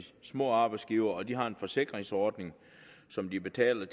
små arbejdsgivere de har en forsikringsordning som de betaler